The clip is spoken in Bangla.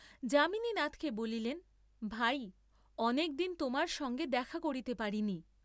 যামিনীনাথকে বলিলেন, ভাই, অনেক দিন তোমার সঙ্গে দেখা করিতে পারি নি।